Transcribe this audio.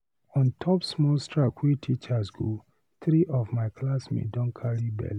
On top small strike wey teachers go three of my classmates don carry bele.